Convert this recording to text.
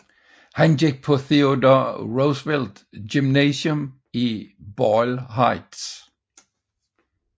Han gik på Theodore Roosevelt gymnasium i Boyle Heights